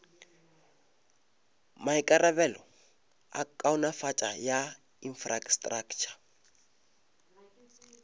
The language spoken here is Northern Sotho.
maikarabelo a kaonafatšo ya infrastraktšha